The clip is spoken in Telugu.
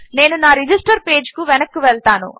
నేను నా రెజిస్టర్ పేజ్కి వెనక్కు వెళ్తాను